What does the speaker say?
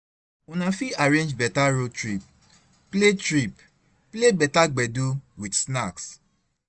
Una fit arrange better road trip, play trip, play better gbedu with snacks